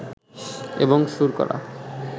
এবং সুর করা